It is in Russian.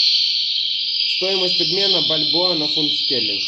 стоимость обмена бальбоа на фунт стерлингов